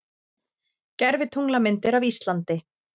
Gervitunglamyndir af Íslandi